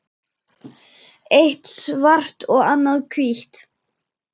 Eitt svart og annað hvítt.